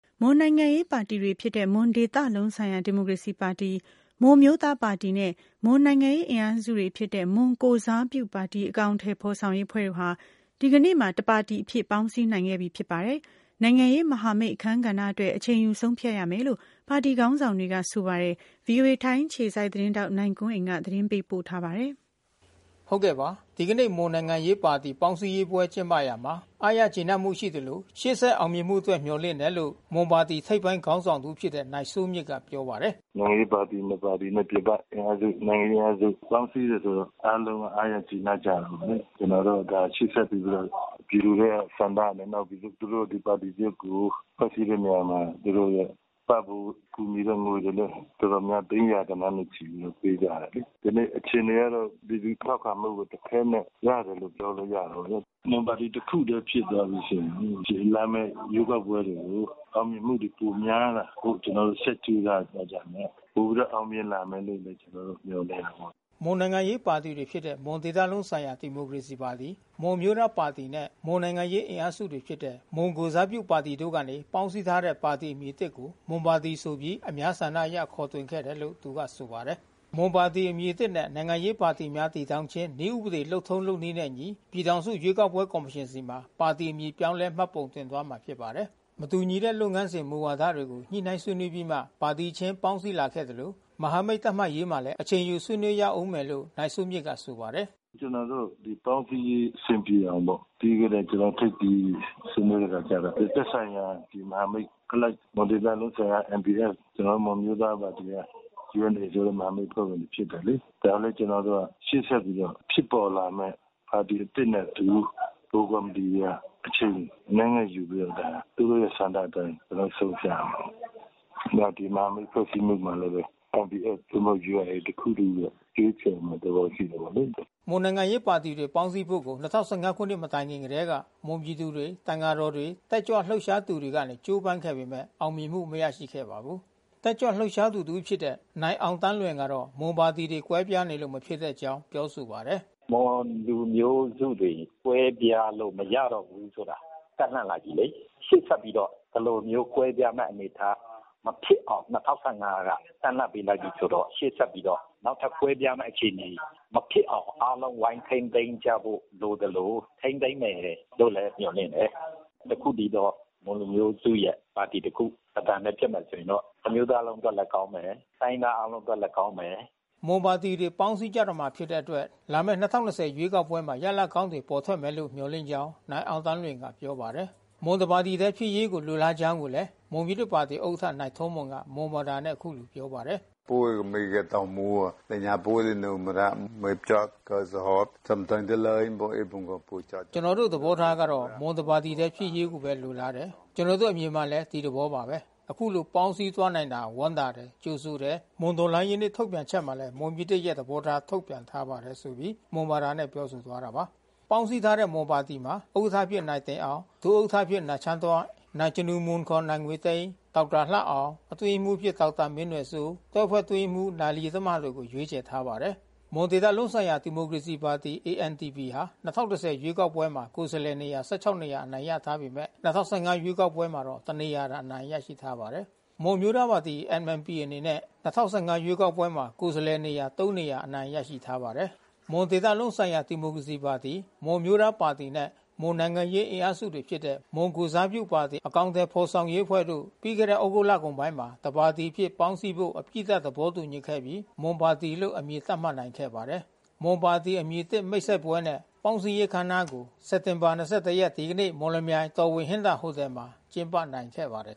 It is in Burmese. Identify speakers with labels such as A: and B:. A: မွန်နိုင်ငံရေးပါတီတွေဖြစ်တဲ့မွန်ဒေသလုံးဆိုင်ရာဒီမိုကရေစီပါတီ၊ မွန်အမျိုးသားပါတီနဲ့ မွန်နိုင်ငံရေး အင်အားစု တွေဖြစ်တဲ့ မွန်ကိုယ်စားပြုပါတီ အကောင်အထည်ဖော်ဆောင်ရေး အဖွဲ့တို့ဟာ ဒီကနေ့မှာ တပါတီအဖြစ် ပေါင်း စည်းနိုင်ခဲ့ပြီ ဖြစ်ပါတယ်။ နိုင်ငံရေးမဟာမိတ်အခန်းကဏ္ဍအတွက် အချိန်ယူဆုံးဖြတ်ရမယ်လို့ ပါတီ ခေါင်းဆောင် တွေက ဆိုပါတယ်။ ဗွီအိုအေထိုင်းအခြေစိုက် သတင်းထောက် နိုင်ကွန်းအိန်က သတင်းပေးပို့ ထားပါတယ်။ ဒီကနေ့မွန်နိုင်ငံရေးပါတီပေါင်းစည်းရေးပွဲကျင်းပရာမှာ အားရကျေနပ်မှုရှိသလို ရှေ့ဆက် အောင်မြင်မှု အတွက် မျှော်လင့်တယ်လို့ မွန်ပါတီထိပ်ပိုင်းခေါင်းဆောင်တဦးဖြစ်တဲ့ နိုင်စိုးမြင့်က ပြောပါတယ်။
B: “နိုင်ငံရေးပါတီနှစ်ပါတီနဲ့ ပြင်ပအင်အားစု နိုင်ငံရေးအင်အားစုပေါင်းစည်းတယ်ဆိုတော့ အားလုံးက အားရ ကျေနပ် ကြတယ်။ ကျနော်က ရှေ့ဆက်ပြီးတော့ ပြည်သူတွေရဲ့ဆန္ဒနဲ့၊ နောက် သူတို့ ဒီပါတီ သစ်ကို ဖွဲ့စည်းတဲ့ နေရာမှာ သူတို့ရဲ့ ပံ့ပိုးကူညီတဲ့ငွေတွေလည်း သိန်းရာဂဏန်းနဲ့ပေးကြတယ်။ ကနေ့အခြေအနေကတော့ လူထု ထောက်ခံမှုကို တခဲနက်ရတယ်လို့ပြောလို့ရတယ်ပေါ့လေ။ မွန်ပါတီတခုတည်းဖြစ်သွားပြီးဆိုရင် လာမဲ့ ရွေးကောက်ပွဲတွေကို အောင်မြင်မှုတွေပိုများလာဖို့ ကျနော်တို့ ဆက်ကြိုးစားသွားကြမယ်။ ပိုပြီးတော့ အောင်မြင်လာမယ်လို့ ကျနော်တို့မျှော်လင့် တာပေါ့။”
A: မွန်နိုင်ငံရေးပါတီတွေဖြစ်တဲ့မွန်ဒေသလုံးဆိုင်ရာဒီမိုကရေစီပါတီ၊ မွန်အမျိုးသားပါတီနဲ့ မွန်နိုင်ငံရေး အင်အားစု တွေ ဖြစ်တဲ့ မွန်ကိုယ်စားပြုပါတီတို့ကနေပေါင်းစည်းထားတဲ့ ပါတီအမည်သစ်ကို မွန်ပါတီ ဆိုပြီး အများဆန္ဒအရ ခေါ်တွင်ခဲ့တယ်လို့ သူကဆိုပါတယ်။ မွန်ပါတီအမည်သစ်နဲ့ နိုင်ငံရေးပါတီများတည်ထောင်ခြင်း နည်းဥပဒေ လုပ်ထုံးလုပ်နည်းနဲ့အညီ ပြည် ထောင်စု ရွေးကောက်ပွဲကော်မရှင်ဆီမှာ ပါတီအမည်ပြောင်းလဲ မှတ်ပုံတင်သွားမှာဖြစ်ပါတယ်။ မတူညီတဲ့လုပ်ငန်းစဉ် မူဝါဒတွေကို ညှိနှိုင်းဆွေးနွေးပြီးမှ ပါတီခြင်းပေါင်းစည်းလာခဲ့သလို မဟာမိတ် သတ်မှတ်ရေးမှာလည်း အချိန်ယူဆွေးနွေးရဦးမယ်လို့ နိုင်စိုးမြင့်က ဆိုပါတယ်။
B: “ကျနော်တို့ ပေါင်းစည်းရေးအဆင်ပြေအောင်ပေါ့။ ပြီးခဲ့တဲ့ ထိပ်သီးဆွေးနွေးတဲ့အခါကျတော့ သက်ဆိုင်ရာ မဟာမိတ်အလိုက် မွန်ဒေသလုံးဆိုင်ရာက NBF ကျနော်တို့ မွန်အမျိုးသားပါတီက UNA မဟာမိတ် အဖွဲ့ဝင်တွေ ဖြစ်တယ်လေ။ ဒါကလည်း ကျနော်တို့က ရှေ့ဆက်ပြီးမှ ဖြစ်ပေါ်လာမဲ့ ပါတီသစ်နဲ့အတူ ဗဟိုကော်မီတီတွေက အချိန်အနည်းငယ်ယူပြီးတော့ ဒါ သူတို့ရဲ့ဆန္ဒအတိုင်း ကျနော်တို့ဆုံးဖြတ်ရမယ်။ နောက်ဒီမဟာမိတ် ဖွဲ့စည်းမှု မှာလည်းပဲ NBF သို့မဟုတ် UNA တခု တည်းရဲ့ ရွေးချယ်မှုတော့ ရှိမှာပေါ့လေ။
A: ” မွန်နိုင်ငံရေးပါတီတွေ ပေါင်းစည်းဖို့ကို ၂၀၁၅ ခုနှစ် မတိုင်ခင်ကတည်းက မွန်ပြည်သူတွေ၊ သံဃာတော်တွေ၊ တက်ကြွ လှုပ်ရှားသူတွေကနေ ကြိုးပမ်းခဲ့ပေမဲ့ အောင်မြင်မှု မရရှိခဲ့ပါဘူး။ တက်ကြွလှုပ်ရှားသူတဦးဖြစ်တဲ့ နိုင်အောင်သန်းလွင်ကတော့ မွန်ပါတီတွေကွဲပြားနေလို့ မဖြစ်တဲ့အကြောင်း ပြောဆိုပါတယ်
B: ။ “မွန်လူမျိုးစုတွေ ကွဲပြားလို့မရတော့ဘူးဆိုတာ တပ်လှန့်လိုက်ပြီလေ။ ရှေ့ဆက်ပြီးတော့ ဒီလိုမျိုး ကွဲပြားမဲ့အနေ အထား မဖြစ်အောင် က တပ်လှန့်ပေးလိုက်ပြီးဆိုတော့ ရှေ့ဆက်ပြီးတော့ နောက်ထပ်ကွဲပြားမဲ့ အခြေအနေ မဖြစ်အောင် အားလုံးဝိုင်းထိန်းသိမ်းကြဖို့လိုသလို ထိန်းသိမ်း မယ်လို့လည်း မျှော်လင့်တယ်။ တခုတည်းသောမွန်လူမျိုးစုရဲ့ပါတီတခု၊ တသံတည်း ဖြစ်မယ် ဆိုရင်တော့ တမျိုးသားလုံးအတွက်လည်း ကောင်းမယ်။ တိုင်းရင်းသားအားလုံးအတွက်လည်း ကောင်းမယ်။
A: ” မွန်ပါတီတွေ ပေါင်းစည်းကြတော့မှာဖြစ်တဲ့အတွက် လာမဲ့ ရွေးကောက်ပွဲမှာ ရလဒ် ကောင်းတွေ ပေါ်ထွက်မယ်လို့ မျှော်လင့်ကြောင်း နိုင်အောင်သန်းလွင်က ပြောပါတယ်။ မွန်တပါတီတည်းဖြစ်ရေးကို လိုလားကြောင်း မွန်ပြည်သစ်ပါတီဥက္ကဋ္ဌ နိုင်ထောမွန်က မွန်ဘာသာနဲ့ အခုလို ပြော ပါတယ်။
B: “
A: ကျနော်တို့သဘောထားကတော့ မွန်တပါတီဖြစ်ရေးပဲ လိုလားတယ်၊ ကျနော်တို့အမြင်ကလည်း ဒီသဘောပါပဲ၊ ခုလို ပေါင်းစည်းသွားနိုင်တာကို ဝမ်းသာတယ်၊ ကြိုဆိုတယ်၊ မွန်တော်လှန်ရေးနေ့ ထုတ်ပြန်ချက်မှာလည်း မွန်ပြည်သစ်ရဲ့ သဘောထား ထုတ်ပြန်ထားပါတယ်။” ပေါင်းစည်းထားတဲ့မွန်ပါတီမှာ ဥက္ကဋ္ဌအဖြစ်နိုင်တင်အောင် ဒုဥက္ကဋ္ဌတွေအဖြစ် နိုင်ချမ်းတွဲ့၊ နိုင်ဇနူမွန် ခေါ် နိုင်ငွေသိန်း၊ ဒေါက်တာလှအောင်၊ အတွင်းရေးမှူးအဖြစ် ဒေါက်တာမင်းနွယ်စိုး၊ တွဲဖက် အတွင်းရေးမှူး နိုင် လယီတမတို့ကို ရွေးချယ် ထားပါတယ်။ မွန်ဒေသလုံးဆိုင်ရာဒီမိုကရေစီပါတီ AMDP ဟာ ရွေးကောက်ပွဲမှာ ကိုယ်စားလှယ်နေရာ နေရာ အနိုင် ရထားပေမဲ့ ရွေးကောက်ပွဲမှာတော့ တနေရာသာအနိုင်ရရှိထားပါတယ်။ မွန်အမျိုးသားပါတီ MNP အနေနဲ့ ၂၀၁၅ ရွေးကောက်ပွဲမှာကိုယ်စားလှယ်နေရာ နေရာ အနိုင်ရ ထားပါတယ်။ မွန်ဒေသလုံးဆိုင်ရာဒီမိုကရေစီပါတီ၊ မွန်အမျိုးသားပါတီနဲ့ မွန်နိုင်ငံရေးအင်အားစုတွေဖြစ်တဲ့ မွန် ကိုယ်စားပြုပါတီ အကောင်အထည်ဖော်ဆောင်ရေးအဖွဲ့တို့ ပြီးခဲ့တဲ့သြဂုတ်လကုန်ပိုင်းမှာ တပါတီ အဖြစ် ပေါင်းစည်းဖို့အပြီးသတ် သဘောတူညီခဲ့ပြီး မွန်ပါတီလို့ အမည်သတ်မှတ်နိုင်ခဲ့ပါတယ်။ “မွန်ပါတီ Mon Party ” အမည်သစ်မိတ်ဆက်ပွဲနှင့် ပေါင်းစည်းရေးအခမ်းအနားကို စက်တာဘာ၂၁ ရက် ဒီကနေ့ မော်လမြိုင်မြို့၊ တော်ဝင်ဟင်္သာဟိုတယ် Royal Hinther Hotel မှာ ကျင်းပနိုင်ခဲ့ပါ တယ်